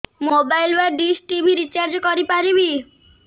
mobile ବା dish TV recharge କରି ପାରିବି